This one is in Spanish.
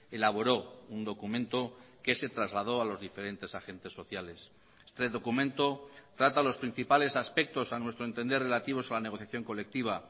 elaboró un documento que se trasladó a los diferentes agentes sociales este documento trata los principales aspectos a nuestro entender relativos a la negociación colectiva